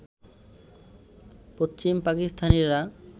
পশ্চিম পাকিস্তানিরা